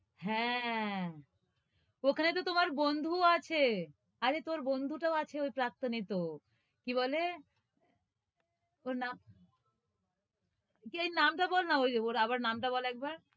হ্যাঁ! ওখানে তহ তুমার বন্ধুও আছে আরে তোর বন্ধুটাও আছে ওই প্রাক্তনে তহ কি বলে? ওর নাম যেই নামটা বলনা এই, ওর নামটা বল আবার,